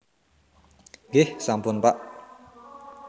Nggih sampun Pak